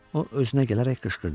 O özünə gələrək qışqırdı: